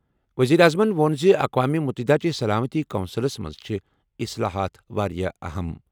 ؤزیٖرِ اعظمن ووٚن زِ اقوام مُتحدہ چہِ سلامتی کونسلَس منٛز چھِ اصلاحات واریاہ اَہَم۔